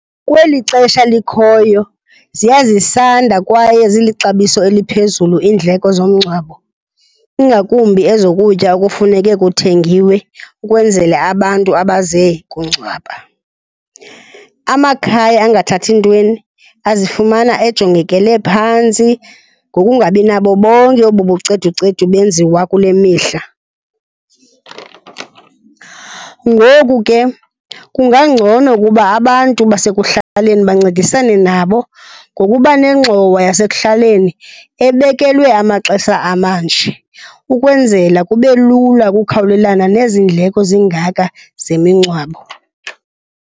Kweli xesha likhoyo ziya zisanda kwaye zilixabiso eliphezulu iindleko zomngcwabo, ingakumbi ezokutya okufuneke kuthengiwe ukwenzela abantu abaze kungcwaba. Amakhaya angathathi ntweni azifumana ejongekele phantsi ngokungabi nabo bonke obu buceducedu benziwa kule mihla. Ngoku ke kungangcono ukuba abantu basekuhlaleni bancedisane nabo ngokuba nengxowa yasekuhaleni ebekelwe amaxesha amanje ukwenzela kube lula ukukhawulelana nezi ndleko zingaka zemingcwabo.